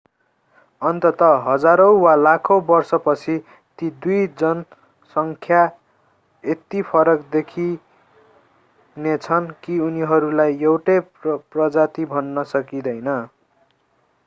अन्ततः हजारौँ वा लाखौँ वर्षपछि ती दुई जनसङ्ख्या यति फरक देखिनेछन् कि उनीहरूलाई एउटै प्रजाति भन्न सकिदैँन